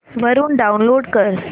वरून डाऊनलोड कर